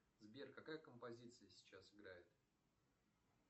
сбер какая композиция сейчас играет